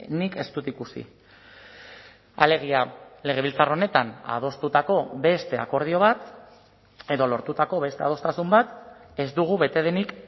nik ez dut ikusi alegia legebiltzar honetan adostutako beste akordio bat edo lortutako beste adostasun bat ez dugu bete denik